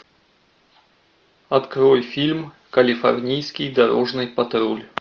открой фильм калифорнийский дорожный патруль